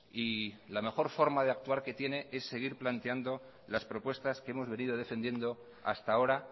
y la mejor forma de actuar que tiene es seguir planteando las propuestas que hemos venido defendiendo hasta ahora